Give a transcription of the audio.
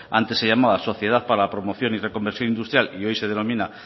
antes se llamaba sociedad para la promoción y reconversión industrial y hoy se denomina